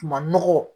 Ma nɔgɔ